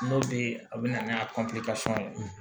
N'o tɛ a bɛ na n'a ye